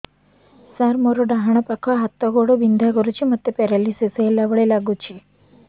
ସାର ମୋର ଡାହାଣ ପାଖ ହାତ ଗୋଡ଼ ବିନ୍ଧା କରୁଛି ମୋତେ ପେରାଲିଶିଶ ହେଲା ଭଳି ଲାଗୁଛି